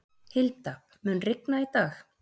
Hilda, mun rigna í dag?